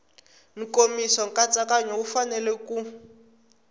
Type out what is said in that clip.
nkomiso nkatsakanyo wu fanele ku